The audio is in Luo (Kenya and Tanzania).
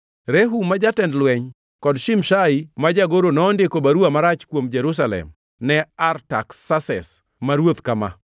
Rehum ma jatend lweny kod Shimshai ma jagoro nondiko baruwa marach kuom Jerusalem ne Artaksases ma ruoth kama: